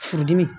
Furudimi